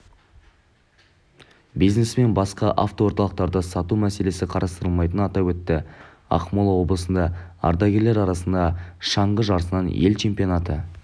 бизнесмен басқа автоорталықтарды сату мәселесін қарастырмайтынын атап өтті ақмола облысында ардагерлер арасында шаңғы жарысынан ел чемпионаты